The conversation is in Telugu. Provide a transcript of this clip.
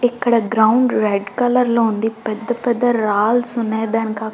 ఇక్కడ గ్రౌండ్ రెడ్ కలర్ లో ఉంది పెద్ద పెద్ద రాల్స్ ఉన్నాయి.